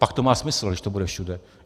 Pak to má smysl, když to bude všude.